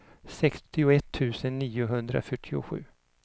sextioett tusen niohundrafyrtiosju